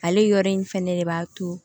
Ale yɔrɔ in fɛnɛ de b'a to